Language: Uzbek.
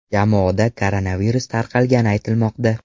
Jamoada koronavirus tarqalgani aytilmoqda.